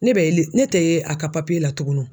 Ne bɛ li ne tɛ ye a ka la tuguni.